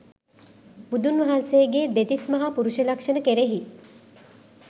බුදුන් වහන්සේගේ දෙතිස් මහා පුරුෂ ලක්ෂණ කෙරෙහි